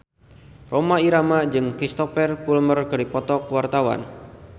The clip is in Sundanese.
Rhoma Irama jeung Cristhoper Plumer keur dipoto ku wartawan